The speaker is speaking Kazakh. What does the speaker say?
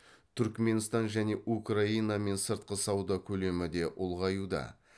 түрікменстан және украинамен сыртқы сауда көлемі де ұлғаюда